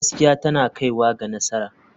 Gaskiya tana kaiwa ga nasara.